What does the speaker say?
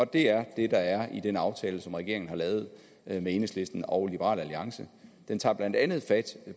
det er det der er i den aftale som regeringen har lavet med enhedslisten og liberal alliance den tager blandt andet fat